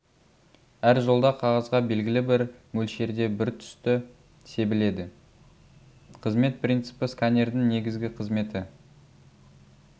әр жолда қағазға белгілі бір мөлшерде бір түсті себіледі қызмет принципі сканердің негізгі қызметі